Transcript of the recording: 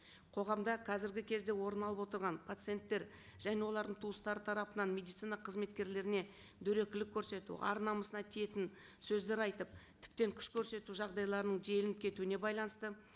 қоғамда қазіргі кезде орын алып отырған пациенттер және олардың туыстары тарапынан медицина қызметкерлеріне дөрекілік көрсету ар намысына тиетін сөздер айтып тіптен күш көрсету жағдайларының желеніп кетуіне байланысты